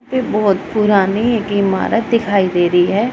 यहां पे बहोत पुरानी एक इमारत दिखाई दे रही है।